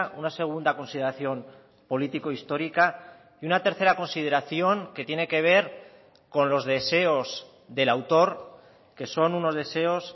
una segunda consideración político histórica y una tercera consideración que tiene que ver con los deseos del autor que son unos deseos